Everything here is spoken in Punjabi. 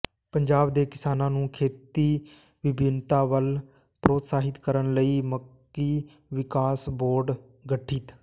ਪੰਜਾਬ ਦੇ ਕਿਸਾਨਾਂ ਨੂੰ ਖੇਤੀ ਵਿਭਿੰਨਤਾ ਵੱਲ ਪ੍ਰੋਤਸਾਹਿਤ ਕਰਨ ਲਈ ਮੱਕੀ ਵਿਕਾਸ ਬੋਰਡ ਗਠਿਤ